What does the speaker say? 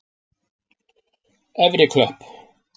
Efri Klöpp